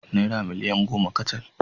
Naira miliyan goma kacal